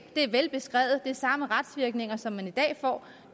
det er velbeskrevet og det har samme retsvirkninger som man i dag får